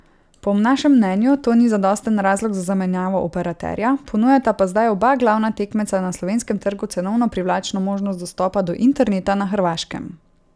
Po našem mnenju to ni zadosten razlog za zamenjavo operaterja, ponujata pa zdaj oba glavna tekmeca na slovenskem trgu cenovno privlačno možnost dostopa do interneta na Hrvaškem.